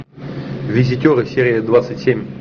визитеры серия двадцать семь